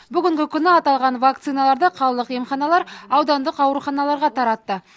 бүгінгі күні аталған вакциналарды қалалық емханалар аудандық ауруханаларға таратты